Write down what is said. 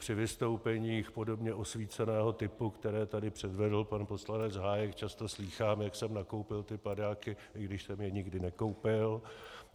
Při vystoupeních podobně osvíceného typu, které tady předvedl pan poslanec Hájek, často slýchám, jak jsem nakoupil ty padáky, i když jsem je nikdy nekoupil.